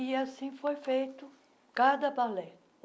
E assim foi feito cada balé.